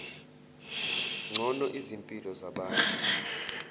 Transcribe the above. ngcono izimpilo zabantu